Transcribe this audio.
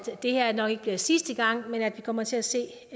det her nok ikke bliver sidste gang men at vi kommer til at se